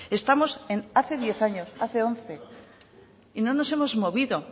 estamos en hace diez años hace once y no nos hemos movido